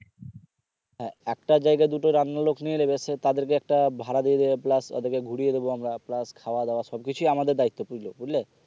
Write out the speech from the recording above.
হ্যাঁ একটা জায়গায় দুটো রান্নার লোক নিয়ে নিবে তাদেরকে একটা ভাড়া দিয়ে দিবে plus তাদেরকে ঘুরিয়ে দেবো আমরা plus খাওয়া দাওয়া সবকিছুই আমাদের দায়িত্বে থাকে বুঝলে